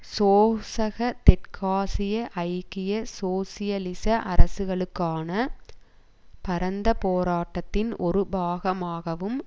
சோசக தெற்காசிய ஐக்கிய சோசியலிச அரசுகளுக்கான பரந்த போராட்டத்தின் ஒரு பாகமாகவும்